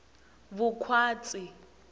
vukhwatsi